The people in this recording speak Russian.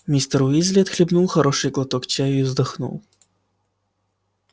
мистер уизли отхлебнул хороший глоток чаю и вздохнул